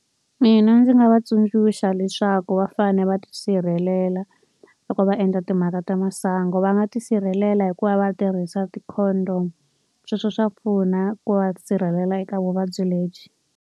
Mina ndzi nga va tsundzuxa leswaku va fanele va tisirhelela loko va endla timhaka ta masangu. Va nga tisirhelela hi ku va va tirhisa ti-condom. Sweswo swa pfuna ku va sirhelela eka vuvabyi lebyi.